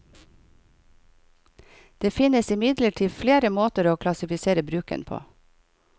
Det finnes imidlertid flere måter å klassifisere bruken på.